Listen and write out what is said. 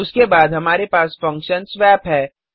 उसके बाद हमारे पास फंक्शनswap है